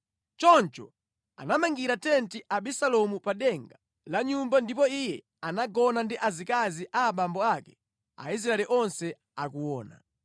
Choncho anamangira tenti Abisalomu pa denga la nyumba ndipo iye anagona ndi azikazi a abambo ake Aisraeli onse akuona.